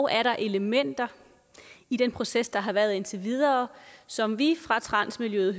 er dog elementer i den proces der har været indtil videre som vi fra transmiljøet